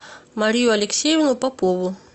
марию алексеевну попову